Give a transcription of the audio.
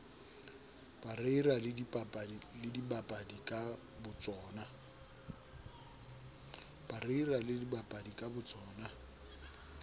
parreira le dibapadi ka botsona